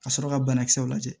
Ka sɔrɔ ka banakisɛw lajɛ